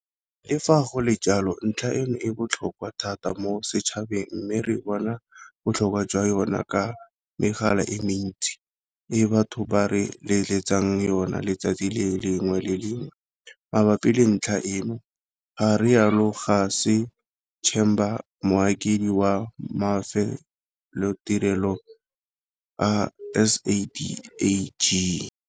Le fa go le jalo, ntlha eno e botlhokwa thata mo setšhabeng, mme re bona botlhokwa jwa yona ka megala e mentsi e batho ba re letsetsang yona letsatsi le lengwe le le lengwe mabapi le ntlha eno, ga rialo Ca ssey Chambers, Mokaedi wa Mafelotirelo a SADAG.